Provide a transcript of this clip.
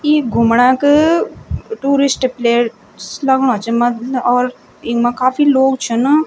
ई घुमणा क tourist place लगणु च मद ल और ईमा काफी लोग छन।